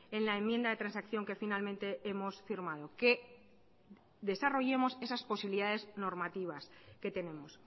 en la enmienda de transacción que finalmente hemos firmado que desarrollemos esas posibilidades normativas que tenemos